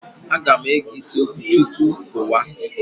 Aga m ege isi okwu tupu pụwa.